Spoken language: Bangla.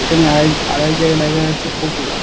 এখানে আর এক আর এক জায়গায় লেখা আছে পপুলার ।